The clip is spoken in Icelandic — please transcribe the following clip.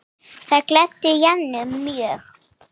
Það gladdi Jennu mjög.